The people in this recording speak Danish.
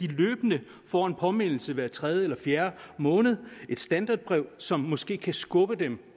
løbende får en påmindelse hver tredje eller fjerde måned et standardbrev som måske kan skubbe dem